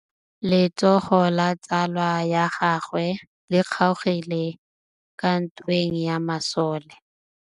Letsôgô la tsala ya gagwe le kgaogile kwa ntweng ya masole.